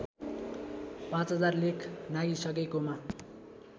५००० लेख नाघिसकेकोमा